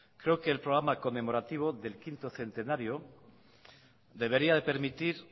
creo que el programa conmemorativo del quinto centenario debería de permitir